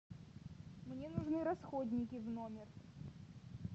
мне нужны расходники в номер